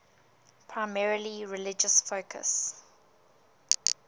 primarily religious focus